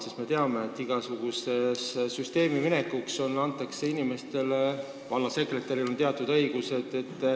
Me ju teame, et igasugusesse süsteemi minekuks antakse inimestele õigused, näiteks vallasekretäril on teatud õigused.